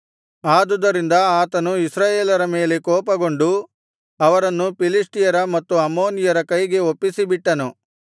ಆದುದರಿಂದ ಆತನು ಇಸ್ರಾಯೇಲರ ಮೇಲೆ ಕೋಪಗೊಂಡು ಅವರನ್ನು ಫಿಲಿಷ್ಟಿಯರ ಮತ್ತು ಅಮ್ಮೋನಿಯರ ಕೈಗೆ ಒಪ್ಪಿಸಿಬಿಟ್ಟನು